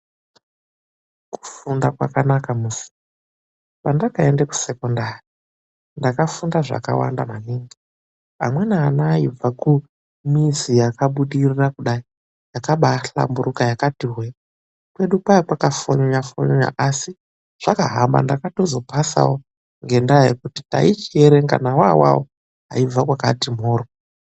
Kufunda kwakanaka musi! Pandakaende kuSekondari, ndakafunda zvakawanda maningi. Amweni ana ayibva kumizi yakabudirira kudai; yakabaahlamburuka; yakati hwe. Kwedu kwaiya kwakafonyonya-fonyonya, asi zvakahamba ndakatozo pasawo ngendaa yekuti taichierenga nawo awawo aibva kwakati mhorwo.